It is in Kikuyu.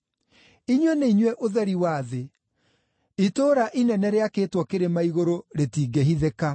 “Inyuĩ nĩ inyuĩ ũtheri wa thĩ. Itũũra inene rĩakĩtwo kĩrĩma igũrũ rĩtingĩhithĩka.